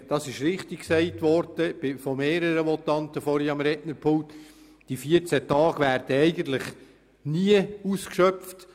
Es wurde richtig gesagt, diese 14 Tage werden eigentlich kaum ausgeschöpft.